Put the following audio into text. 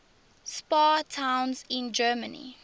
spa towns in germany